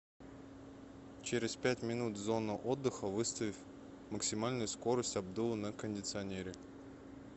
через пять минут зона отдыха выставь максимальную скорость обдува на кондиционере